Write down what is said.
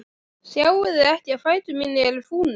Sjáiði ekki að fætur mínir eru fúnir?